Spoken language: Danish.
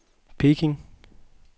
Peking